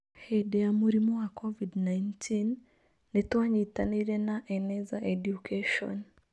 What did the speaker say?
Hĩndĩ ya mũrimũ wa COVID-19, nĩ twanyitanĩire na Eneza Education.